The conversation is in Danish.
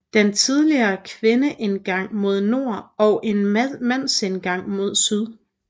Den havde tidligere en kvindeindgang mod nord og en mandsindgang mod syd